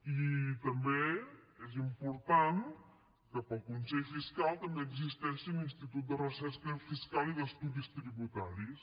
i també és important que per al consell fiscal també existeixi un institut de recerca fiscal i d’estudis tributaris